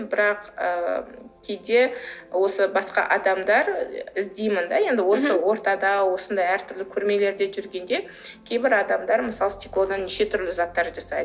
бірақ ы кейде осы басқа адамдар іздеймін де енді осы ортада осындай әртүрлі көрмелерде жүргенде кейбір адамдар мысалы стеклодан неше түрлі заттар жасайды